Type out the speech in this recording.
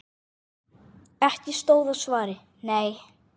Ekki stóð á svari: Nei!